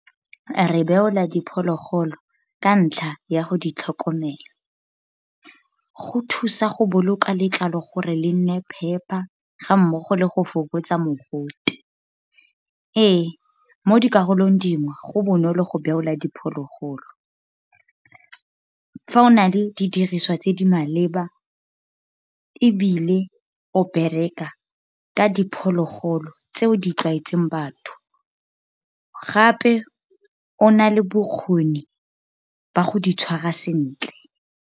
Re beola diphologolo ka ntlha ya go di tlhokomela. Go thusa go boloka letlalo gore le nne phepa, ga mmogo le go fokotsa mogote. Ee, mo dikarolong dingwe, go bonolo go beolwa diphologolo. Fa o na le di diriswa tse di maleba, ebile o bereka ka diphologolo tse o di tlwaetseng batho. Gape o na le bokgoni ba go di tshwarwa sentle.